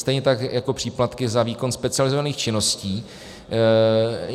Stejně tak jako příplatky za výkon specializovaných činností.